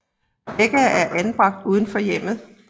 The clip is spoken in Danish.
Begge er anbragt uden for hjemmet